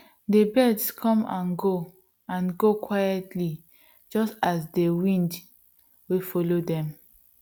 dey birds come and go and go quietlyjust as dey wind wey follow dem